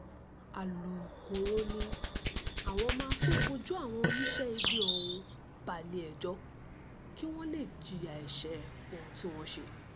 alukkóró ni àwọn máa tóó fojú àwọn oníṣẹ́ ibi ọ̀hún balẹ̀-ẹjọ́ kí wọ́n lè jìyà ẹ̀ṣẹ̀ ohun tí wọ́n ṣe